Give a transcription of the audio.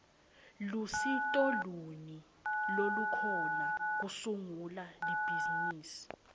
lusito luni lolukhona kusungula ibhizimisi